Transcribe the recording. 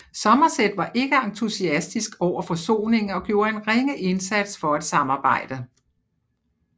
Somerset var ikke entusiastisk over forsoningen og gjorde en ringe indsats for at samarbejde